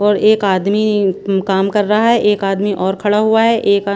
और एक आदमी म्म काम कर रहा हैं एक आदमी और खड़ा हुआ हैं एक आ--